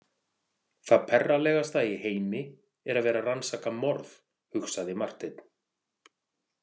Það perralegasta í heimi er að vera að rannsaka morð, hugsaði Marteinn.